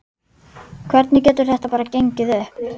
Hvernig getur þetta bara gengið upp?